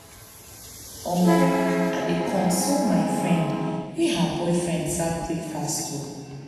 omo i dey console my friend, wey her boyfriend serve breakfast ohh.